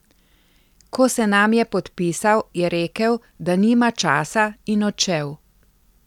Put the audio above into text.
Ko se nam je podpisal, je rekel, da nima časa in odšel.